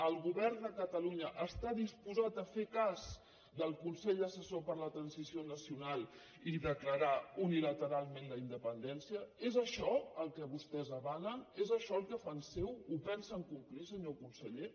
el govern de catalunya està disposat a fer cas del consell assessor per a la transició nacional i declarar unilateralment la independència és això el que vostès avalen és això el que fan seu ho pensen complir senyor conseller